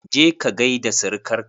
Je ka gaida sirikar ka!